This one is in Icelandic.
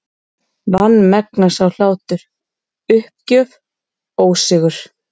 Vanmegna sá hlátur, uppgjöf, ósigur.